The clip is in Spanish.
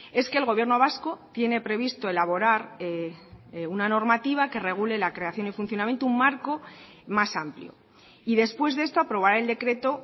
es que el gobierno vasco tiene previsto elaborar de una normativa que regule la creación y funcionamiento un marco más amplio y después de esto aprobar el decreto